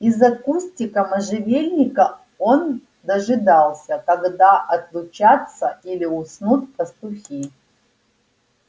из-за кустика можжевельника он дожидался когда отлучатся или уснут пастухи